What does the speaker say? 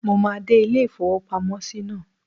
Mo máa dé ilé-ìfowópamọ́sí náà.